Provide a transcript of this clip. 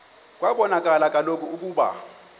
kwabonakala kaloku ukuba